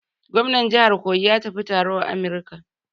Gomnar jihar Kogi ya tafi taro a America.